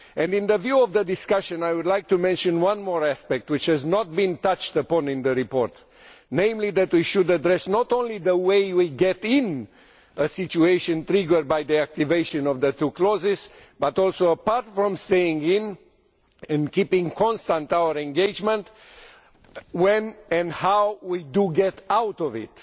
In view of the discussion, I would like to mention one more aspect which has not been touched upon in the report, namely that we should address not only the way we get into a situation triggered by the activation of the two clauses, but also, apart from staying in and being constant in our engagement, when and how we get out of it.